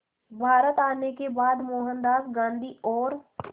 भारत आने के बाद मोहनदास गांधी और